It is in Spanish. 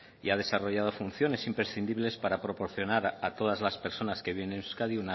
y ha desarrollado funciones imprescindibles para proporcionar a todas las personas que viene a euskadi